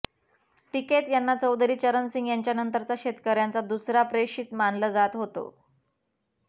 टिकैत यांना चौधरी चरण सिंह यांच्यानंतरचा शेतकऱ्यांचा दुसरा प्रेषित मानलं जात होतं